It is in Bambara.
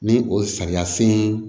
Ni o sariya sen